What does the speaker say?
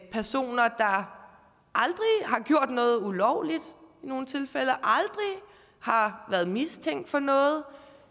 personer der aldrig har gjort noget ulovligt aldrig har været mistænkt for noget